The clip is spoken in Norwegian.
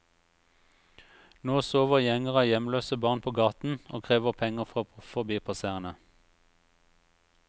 Nå sover gjenger av hjemløse barn på gaten, og krever penger fra forbipasserende.